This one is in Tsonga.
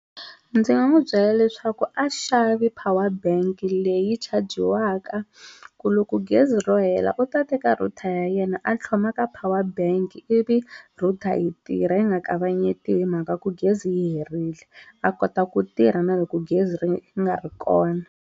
Ndzi nga n'wi byela leswaku a xavi power bank leyi chajiwaka ku loko gezi ro hela u ta teka router ya yena a tlhloma ka power bank ivi router yi tirha yi nga kavanyetiwi hi mhaka ku gezi yi herile a kota ku tirha na loko gezi ri nga ri kona.